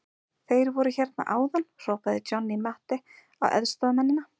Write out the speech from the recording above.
Þeir voru hérna áðan, hrópaði Johnny Mate á aðstoðarmennina.